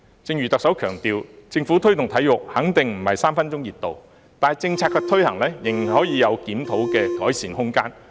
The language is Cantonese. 正如特首強調，政府推動體育"肯定不是3分鐘熱度"，但政策的推行仍有檢討和改善空間。